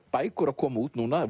bækur að koma út núna